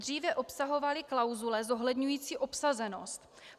dříve obsahovaly klauzule zohledňující obsazenost.